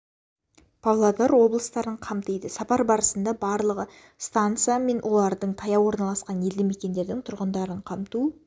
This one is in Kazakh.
павлодар облыстарын қамтиды сапар барысында барлығы станса мен оларға таяу орналасқан елді мекендердің тұрғындарын қамту